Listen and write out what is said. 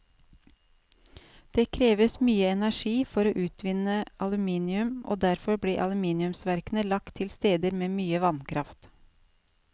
Det kreves mye energi for å utvinne aluminium, og derfor ble aluminiumsverkene lagt til steder med mye vannkraft.